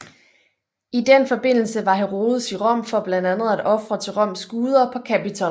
I den forbindelse var Herodes i Rom for blandt andet at ofre til Roms guder på Kapitol